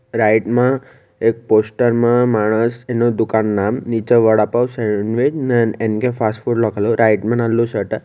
right માં એક poster માં માણસ એનો દુકાનનું નામ નીચે વડાપાવ સેન્ડવીચ એન કે ફાસ્ટ ફૂડ રાઇટ નાનલું શટર --